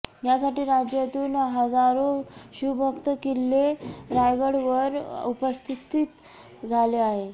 यासाठी राज्यातून हजारो शिवभक्त किल्ल्ले रायगडावर उपस्तिथीत झाले आहे